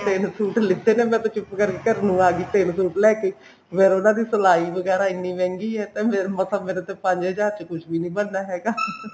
ਤਿੰਨੇ suit ਲਿੱਤੇ ਮੈਂ ਤਾਂ ਚੁੱਪ ਕਰਕੇ ਘਰ ਨੂੰ ਆ ਗਈ ਤਿੰਨ suit ਲੈਕੇ ਫੇਰ ਉਹਨਾਂ ਦੀ ਸਿਲਾਈ ਵਗੈਰਾ ਇਹਨੀ ਮਹਿੰਗੀ ਐ ਤੇ ਮਸਾ ਮੇਰਾ ਤਾਂ ਪੰਜ ਹਜ਼ਾਰ ਚ ਕੁੱਛ ਵੀ ਨੀ ਬਣਨਾ ਹੈਗਾ